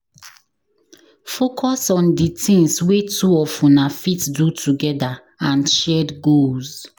Focus on di things wey two of una fit do together and shared goals